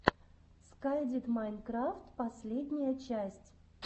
скай дид майнкрафт последняя часть